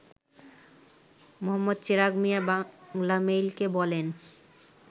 মো. চেরাগ মিয়া বাংলামেইলকে বলেন